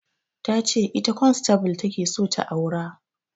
Ta ce ita kwansatable ta ke so ta aura